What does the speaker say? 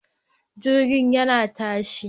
Jirgin yana tashi